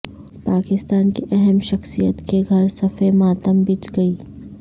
پاکستان کی اہم شخصیت کے گھر صف ماتم بچھ گئی